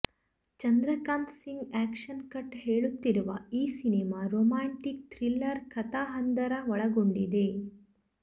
Chandrakant Singh action cut ಹೇಳುತ್ತಿರುವ ಈ cinema romantic thriller ಕಥಾಹಂದರ ಒಳಗೊಂಡಿದೆ